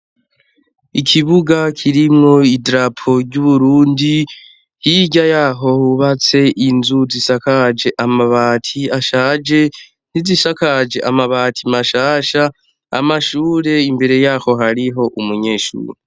Ikibuga kirimwo i drapo ry'uburundi hirya yaho hubatse inzu zisakaje amabati ashaje nizishakaje amabati mashasha amashure imbere yaho hariho umunyeshuru.